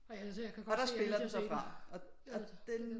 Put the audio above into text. Altså jeg kan godt høre jeg er nødt til at se den